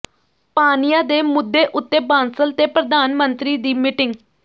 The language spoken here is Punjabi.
ਪਾਣੀਆਂ ਦੇ ਮੁੱਦੇ ਉਤੇ ਬਾਂਸਲ ਤੇ ਪ੍ਰਧਾਨ ਮੰਤਰੀ ਦੀ ਮੀਟਿੰਗ